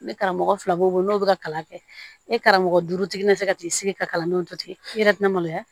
Ne karamɔgɔ fila b'o n'u bɛ ka kalan kɛ ni karamɔgɔ duuru nana se ka t'i sigi ka kalandenw to ten i yɛrɛ bɛ na maloya